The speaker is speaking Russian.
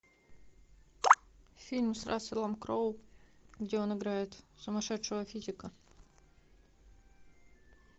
фильм с расселом кроу где он играет сумасшедшего физика